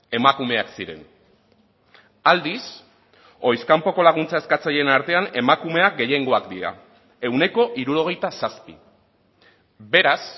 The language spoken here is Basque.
emakumeak ziren aldiz ohiz kanpoko laguntza eskatzaileen artean emakumeak gehiengoak dira ehuneko hirurogeita zazpi beraz